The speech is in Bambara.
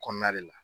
Kɔnɔna de la